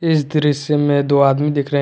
इस दृश्य में दो आदमी दिख रहे--